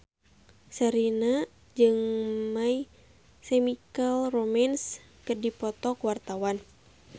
Sherina jeung My Chemical Romance keur dipoto ku wartawan